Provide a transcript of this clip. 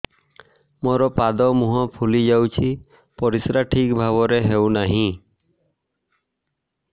ମୋର ପାଦ ମୁହଁ ଫୁଲି ଯାଉଛି ପରିସ୍ରା ଠିକ୍ ଭାବରେ ହେଉନାହିଁ